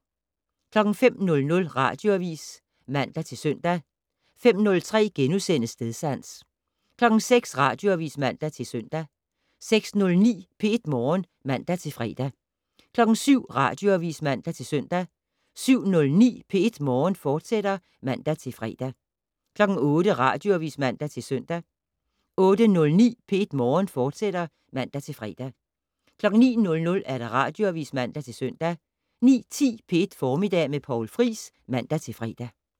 05:00: Radioavis (man-søn) 05:03: Stedsans * 06:00: Radioavis (man-søn) 06:09: P1 Morgen (man-fre) 07:00: Radioavis (man-søn) 07:09: P1 Morgen, fortsat (man-fre) 08:00: Radioavis (man-søn) 08:09: P1 Morgen, fortsat (man-fre) 09:00: Radioavis (man-søn) 09:10: P1 Formiddag med Poul Friis (man-fre)